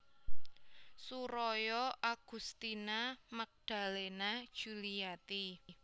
Suroyo Agustina Magdalena Djuliati